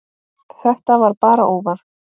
Þetta var bara óvart.